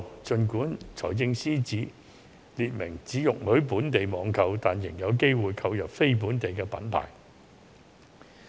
儘管司長列明只容許本地網購，但市民仍有機會購入非本地品牌。